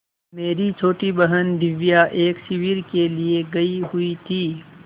मेरी छोटी बहन दिव्या एक शिविर के लिए गयी हुई थी